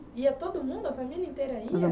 Ia todo mundo? a família inteira ia?